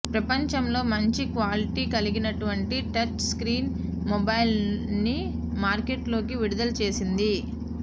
ప్రపంచంలో మంచి క్వాలిటీ కలిగినటువంటి టచ్ స్క్రీన్ మొబైల్స్ని మార్కెట్లోకి విడుదల చేసింది